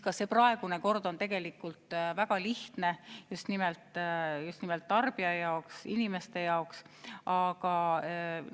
Ka praegune kord on tegelikult just nimelt tarbija jaoks, inimeste jaoks väga lihtne.